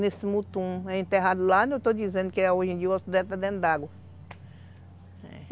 Nesse mutum, é enterrado lá